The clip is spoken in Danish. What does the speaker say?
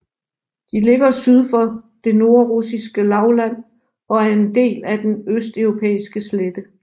De ligger syd for Det nordrussiske lavland og er en del af Den østeuropæiske slette